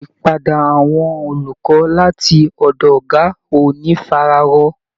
Ìpadà àwọn olùkọ́ láti ọ̀dọ̀ Ọ̀gá ò ní fara rọ